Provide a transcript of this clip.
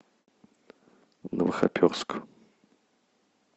новохоперск